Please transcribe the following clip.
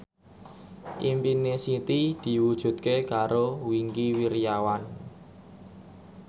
impine Siti diwujudke karo Wingky Wiryawan